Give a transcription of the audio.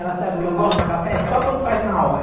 Ela sabe que eu gosto do café só quando faz na hora.